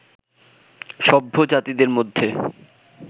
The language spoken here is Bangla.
সভ্য জাতিদের মধ্যে